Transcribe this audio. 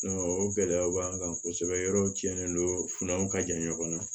o gɛlɛyaw b'an kan kosɛbɛ yɔrɔw cɛnnen don fununanw ka jan ɲɔgɔn na